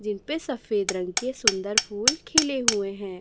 जिनपे सफेद रंग के सुंदर फूल खिले हुए हैं।